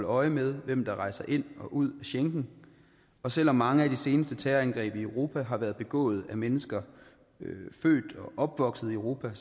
øje med hvem der rejser ind og ud af schengen og selv om mange af de seneste terrorangreb i europa har været begået af mennesker født og opvokset i europa